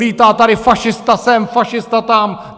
Lítá tady fašista sem, fašista tam!